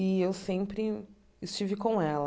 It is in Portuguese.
E eu sempre estive com ela.